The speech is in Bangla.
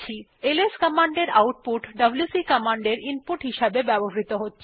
এলএস কমান্ডের আউটপুট ডব্লিউসি কমান্ডের ইনপুট হিসেবে ব্যবহৃত হয়